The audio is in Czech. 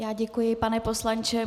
Já děkuji, pane poslanče.